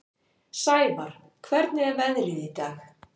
Sævarr, hvernig er veðrið í dag?